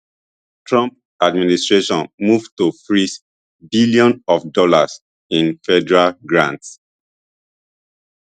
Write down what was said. trump administration move to freeze billions of dollars in federal grants